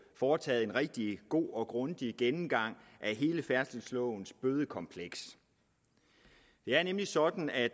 foretaget en rigtig god og grundig gennemgang af hele færdselslovens bødekompleks det er nemlig sådan at